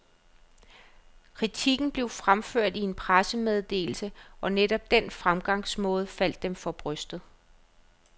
Kritikken blev ført frem i en pressemeddelse, og netop den fremgangsmåde faldt dem for brystet.